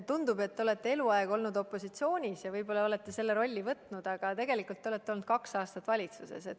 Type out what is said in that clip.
Tundub, et te olete eluaeg olnud opositsioonis ja võib-olla olete selle rolli võtnud, aga tegelikult te olete olnud kaks aastat valitsuses.